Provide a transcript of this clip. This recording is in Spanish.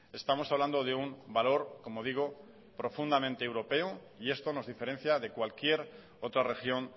estamos hablando de un valor como digo profundamente europeo y esto nos diferencia de cualquier otra región